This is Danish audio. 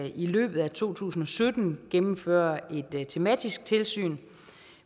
i løbet af to tusind og sytten gennemføre et tematisk tilsyn